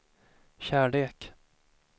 kärlek